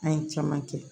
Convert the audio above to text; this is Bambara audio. An ye caman kɛ